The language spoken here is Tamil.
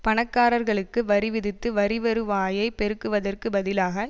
பணக்காரர்களுக்கு வரி விதித்து வரி வருவாயை பெருக்குவதற்கு பதிலாக